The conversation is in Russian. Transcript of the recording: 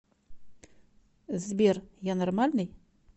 сбер я нормальный